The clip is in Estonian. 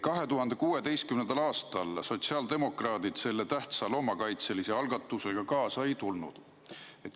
2016. aastal sotsiaaldemokraadid selle tähtsa loomakaitselise algatusega kaasa ei tulnud.